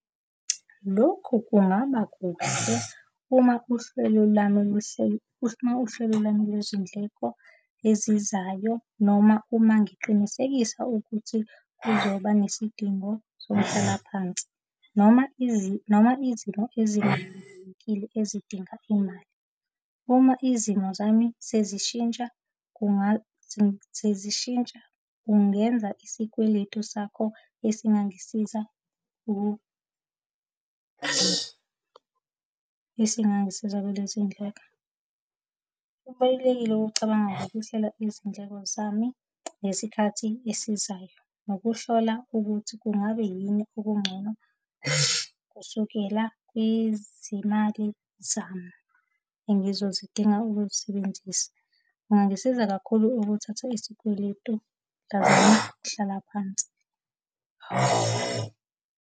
Lokhu kungaba kuhle uma uhlelo lami luhleli, uma uhlelo lami lwezindleko ezizayo, noma uma ngiqinisekisa ukuthi kuzoba nesidingo, somhlalaphansi noma noma izimo ezikhethekile ezidinga imali. Uma izimo zami sezishintsha sezishintsha kungenza isikweletu sakho esingangisiza, esingangisiza kulezindleko. Kubalulekile ukucabanga ngokuhlela izindleko zami ngesikhathi esizayo nokuhlola ukuthi kungabe yini okungcono kusukela kwizimali zami engizozidinga ukuzisebenzisa. Kungangisiza kakhulu ukuthatha isikweletu, ngazama ukuhlala phansi.